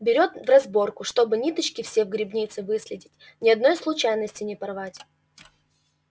берёт в разработку чтобы ниточки все в грибнице выследить ни одной случайности не порвать